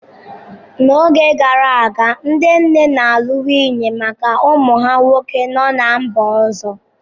N'oge gara aga, ndị nne na-alụ nwunye maka ụmụ ha nwoke no ná mba ọzọ.